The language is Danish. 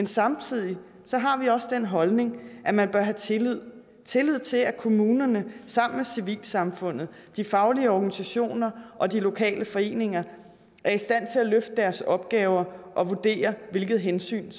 samtidig den holdning at man bør have tillid tillid til at kommunerne sammen med civilsamfundet de faglige organisationer og de lokale foreninger er i stand til at løfte deres opgaver og vurdere hvilke hensyn